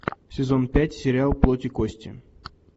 сезон пять сериал плоть и кости